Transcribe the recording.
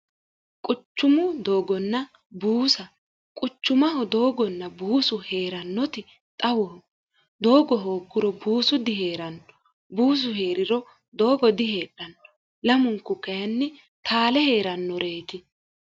quchumu doogonna buusa quchumaho doogonna buusu hee'rannoti xawoho doogo hoogguro buusu dihee'ranno buusu hee'riro doogo diheedhanno lamunku kayinni taale hee'rannoreeti